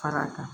Fara kan